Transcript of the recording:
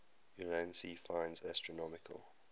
ulansey finds astronomical